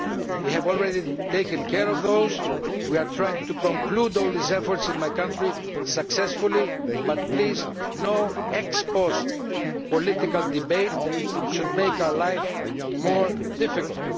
We have already taken care of them. We are trying to conclude all these efforts in my country successfully but please there should be no ex post political debate that makes our life more difficult.